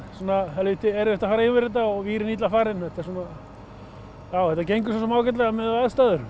helvíti erfitt að fara yfir þetta og vírinn illa farinn en þetta gengur svo sem ágætlega miðað við aðstæður